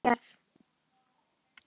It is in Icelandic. Eins og þú sérð.